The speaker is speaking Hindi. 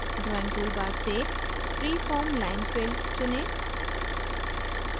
drawing toolbar से freeform line filled चुनें